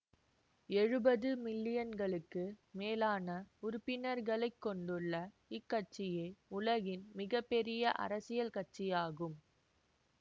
எழுவது மில்லியன்களுக்கு மேலான உறுப்பினர்களை கொண்டுள்ள இக் கட்சியே உலகின் மிக பெரிய அரசியல் கட்சியாகும்